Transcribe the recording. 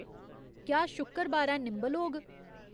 क्या शुक्करबारै निंबल होग